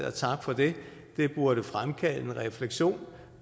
og tak for det burde fremkalde en refleksion